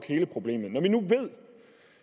hele problemet